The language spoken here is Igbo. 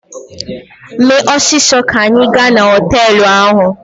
Mee ọsịsọ ka anyị gaa na họtelụ ahụ!